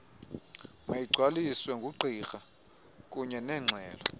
mayigcwaliswe ngugqirha kunyenengxelo